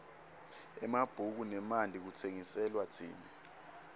emabhuku nemanti kutsengiselwa tsine